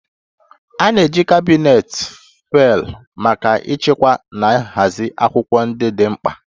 A na-eji kabinet faịlụ maka ịchekwa na ịhazi akwụkwọ ndị dị mkpa